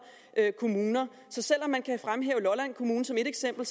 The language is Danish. kommuner så selv om man kan fremhæve lolland kommune som ét eksempel